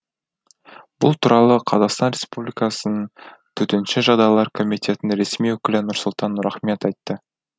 бұл туралы қазақстан республикасының төтенше жағдайлар комитетінің ресми өкілі нұрсұлтан нұрахмет айтты